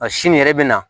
A sini yɛrɛ bɛ na